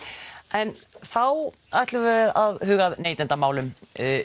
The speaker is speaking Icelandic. en þá að neytendamálum